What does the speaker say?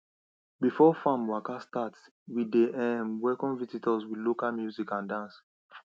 before farm waka start we dey um welcome visitors with local music and dance